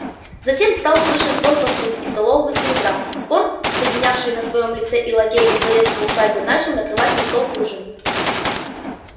затем стал слышен звон посуды и столового серебра порк соединявший в своём лице и лакея и дворецкого усадьбы начал накрывать на стол к ужину